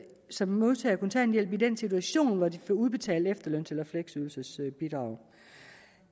som modtager kontanthjælp i den situation hvor de får udbetalt efterløns eller fleksydelsesbidrag